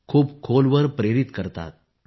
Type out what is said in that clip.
खूप खोलवर प्रेरित करतात